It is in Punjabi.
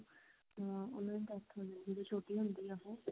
ਅਹ ਉਹਨਾ ਦੀ death ਹੋ ਜਾਂਦੀ ਆ ਜਦੋਂ ਛੋਟੀ ਹੁੰਦੀ ਆ ਉਹ